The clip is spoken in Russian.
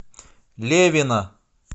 левина